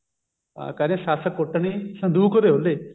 ਅਮ ਕਹਿੰਦੇ ਸੱਸ ਕੁੱਟਣੀ ਸੰਦੂਕ ਦੇ ਉਹਲੇ